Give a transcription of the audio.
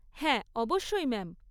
হ্যাঁ, অবশ্যই ম্যাম।